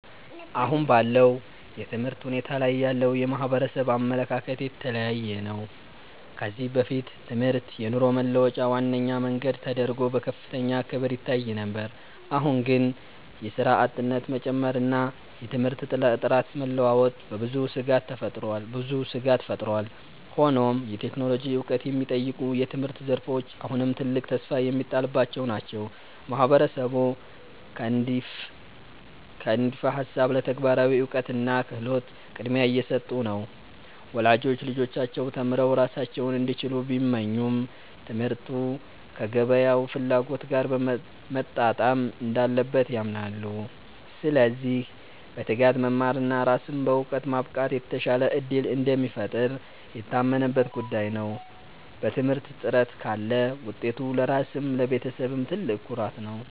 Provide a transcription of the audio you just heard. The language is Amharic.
አሁን ባለው የትምህርት ሁኔታ ላይ ያለው የማህበረሰብ አመለካከት የተለያየ ነው። ከዚህ በፊት ትምህርት የኑሮ መለወጫ ዋነኛ መንገድ ተደርጎ በከፍተኛ ክብር ይታይ ነበር። አሁን ግን የሥራ አጥነት መጨመርና የትምህርት ጥራት መለዋወጥ በብዙዎች ስጋት ፈጥሯል። ሆኖም የቴክኖሎጂ ዕውቀት የሚጠይቁ የትምህርት ዘርፎች አሁንም ትልቅ ተስፋ የሚጣልባቸው ናቸው። ማህበረሰቡ ከንድፈ ሃሳብ ለተግባራዊ እውቀትና ክህሎት ቅድሚያ እየሰጡ ነው። ወላጆች ልጆቻቸው ተምረው ራሳቸውን እንዲችሉ ቢመኙም፣ ትምህርቱ ከገበያው ፍላጎት ጋር መጣጣም እንዳለበት ያምናሉ። ስለዚህ በትጋት መማርና ራስን በዕውቀት ማብቃት የተሻለ ዕድል እንደሚፈጥር የታመነበት ጉዳይ ነው። በትምህርት ጥረት ካለ ውጤቱ ለራስም ለቤተሰብም ትልቅ ኩራት ነው።